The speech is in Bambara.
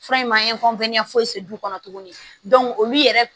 Fura in ma fosi kɔnɔ tuguni olu yɛrɛ